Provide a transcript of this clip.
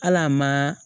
Hal'a ma